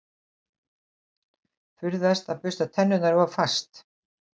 Forðast að bursta tennur of fast.